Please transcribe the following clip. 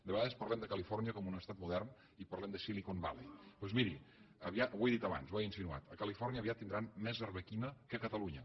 de vegades parlem de califòrnia com un estat modern i parlem de silicon valley doncs miri ho he dit abans ho he insinuat a califòrnia aviat tindran més arbequina que a catalunya